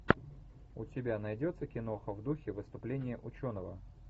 у тебя найдется киноха в духе выступления ученого